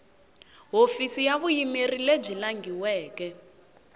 hofisi ya vuyimeri lebyi langhiweke